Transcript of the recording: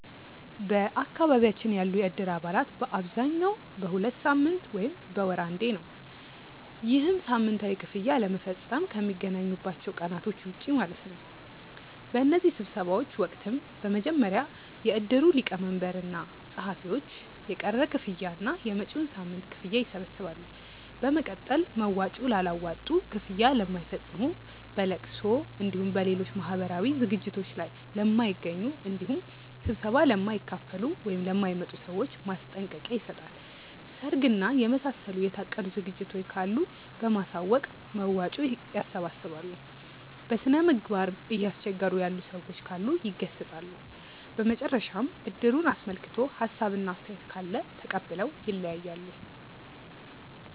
በአካባቢያችን ያሉ የእድር አባላት በአብዛኛው በሁለት ሳምንት ወይም በወር አንዴ ነው። ይህም ሳምንታዊ ክፍያ ለመፈፀም ከሚገናኙባቸው ቀናቶች ውጪ ማለት ነው። በእነዚህ ስብሰባዎች ወቅትም በመጀመሪያ የእድሩ ሊቀመንበር እና ፀሀፊዎች የቀረ ክፍያ እና የመጪዉን ሳምንት ክፍያ ይሰበስባሉ። በመቀጠል መዋጮ ላላዋጡ፣ ክፍያ ለማይፈፅሙ፣ በለቅሶ እንዲሁም በሌሎች ማህበራዊ ዝግጅቶት ላይ ለማይገኙ እንዲሁም ስብሰባ ለማይካፈሉ ( ለማይመጡ) ሰዎች ማስጠንቀቂያ ይሰጣል። ሰርግ እና የመሳሰሉ የታቀዱ ዝግጅቶች ካሉ በማሳወቅ መዋጮ ያሰባስባሉ። በስነምግባር እያስቸገሩ ያሉ ሰዎች ካሉ ይገሰፃሉ። በመጨረሻም እድሩን አስመልክቶ ሀሳብ እና አስተያየት ካለ ተቀብለው ይለያያሉ።